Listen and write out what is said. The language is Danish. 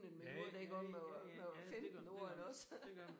Ja ja ja ja det gør man det gør man det gør man